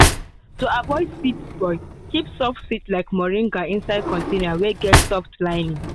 to avoid seed spoil keep soft seed like moringa inside container wey get soft lining.